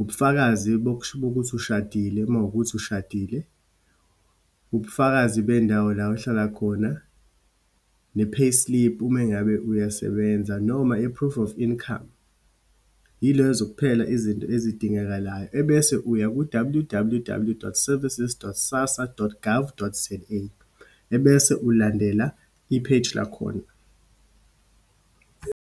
ubufakazi bokuthi ushadile, uma kuwukuthi ushadile, ubufakazi bendawo la ohlala khona, ne-payslip uma ngabe uyasebenza, noma i-proof of income. Yilezo kuphela izinto ezidingekalayo. Ebese uya ku-W_W_W dot services dot SASSA dot gov dot za, ebese ulandela ipheji lakhona.